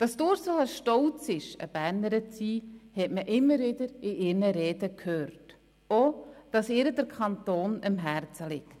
Dass Ursula Zybach stolz ist, Bernerin zu sein, hat man immer wieder in ihren Reden gehört, auch, dass ihr der Kanton am Herzen liegt.